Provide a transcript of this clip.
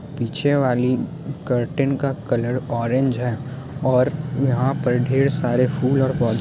पीछे वाली कर्टेन का कलर ऑरेंज है और यहाँ पर ढेर सारे फूल और पो --